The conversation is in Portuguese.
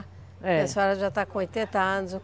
É, a senhora já está com oitenta anos.